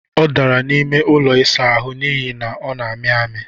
Ọ dara n'ime ụlọ ịsa ahụ n'ihi na ọ na-amị amị